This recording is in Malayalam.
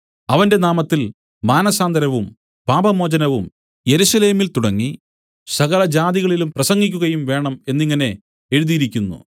അവന്റെ നാമത്തിൽ മാനസാന്തരവും പാപമോചനവും യെരൂശലേമിൽ തുടങ്ങി സകലജാതികളിലും പ്രസംഗിക്കുകയും വേണം എന്നിങ്ങനെ എഴുതിയിരിക്കുന്നു